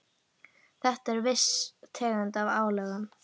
Þetta er viss tegund af álögum.